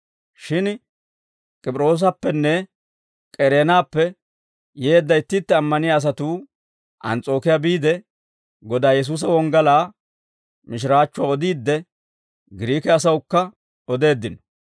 Shin K'op'iroosappenne K'ereenappe yeedda itti itti ammaniyaa asatuu Ans's'ookiyaa biide, Godaa Yesuusa wonggalaa mishiraachchuwaa odiidde, Giriike asawukka odeeddino.